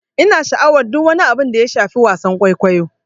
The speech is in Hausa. Ina sha'awar duk wani abu da ya shafi wasan kwaikwayo.